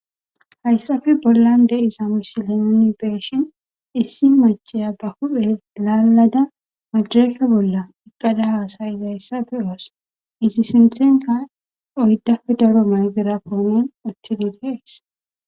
Hayssape bollan de7iza misile nuuni be7ishin issi macciya ba huphe laallada madireke bolla uththada haasayizayssa be7oos; i siththenkka oyddape daro maykera uththide7itha bessees.